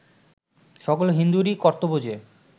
সকল হিন্দুরই কর্তব্য যে